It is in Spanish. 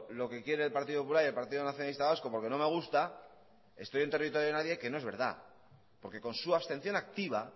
lo que quiere el partido popular y el partido nacionalista vasco porque no me gusta estoy en territorio de nadie que no es verdad porque con su abstención activa